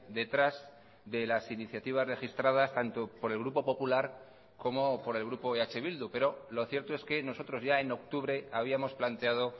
detrás de las iniciativas registradas tanto por el grupo popular como por el grupo eh bildu pero lo cierto es que nosotros ya en octubre habíamos planteado